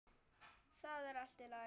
Það er allt í lagi.